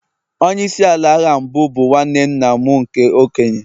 Onye isi ala agha mbụ bụ nwanne nna m nke okenye